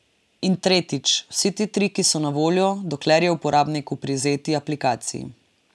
In tretjič, vsi ti triki so na voljo, dokler je uporabnik v privzeti aplikaciji.